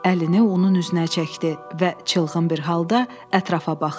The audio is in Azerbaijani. Əlini onun üzünə çəkdi və çılğın bir halda ətrafa baxdı.